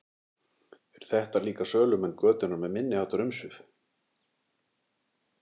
Eru þetta líka sölumenn götunnar með minniháttar umsvif?